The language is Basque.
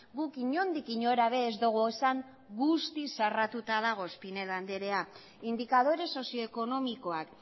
guk inondik inora ere ez dogu esan guztiz zarratuta dagoenik pinedo andrea indikadore sozioekonomikoak